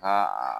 Ka